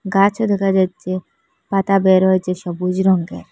গাছও দেখা যাচ্ছে পাতা বের হয়েছে সবুজ রঙ্গের ।